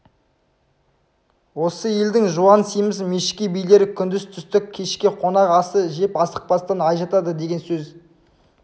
осы елдің жуан семіз мешкей билері күндіз түстік кешке қонақ асы жеп асықпастан ай жатады деген сөз